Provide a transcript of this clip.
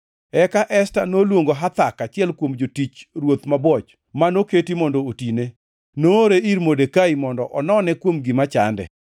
Eka Esta noluongo Hathak, achiel kuom jotich ruoth mabwoch manoketi mondo otine, noore ir Modekai mondo onone kuom gima chande.